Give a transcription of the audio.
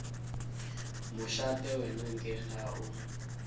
mošate wena nke ga o